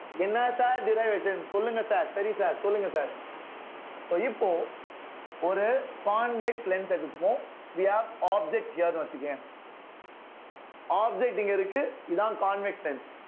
என்ன sir derivation சொல்லுங்க sir சரி sir சொல்லுங்க sir so இப்போ ஒரு convex lens எடுத்துக்குவோம் we have object here ன்னு வச்சுக்கயேன் objecting இருக்கு இதான் convex lens